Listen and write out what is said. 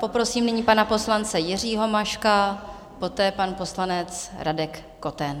Poprosím nyní pana poslance Jiřího Maška, poté pan poslanec Radek Koten.